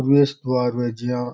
हम इस बार मे जिया --